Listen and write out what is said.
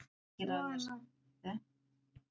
Svo annað.